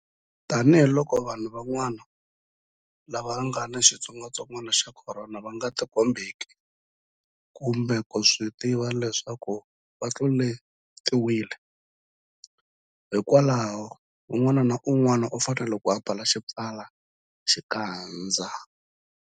Tanihiloko vanhu van'wana lava nga ni xitsongwantsongwana xa Khorona va nga tikombeki kumbe ku swi tiva leswaku va tluletiwile, hikwalaho un'wana na un'wana u fanele ku ambala xipfalaxikandza.